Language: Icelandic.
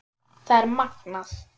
Það er magnað.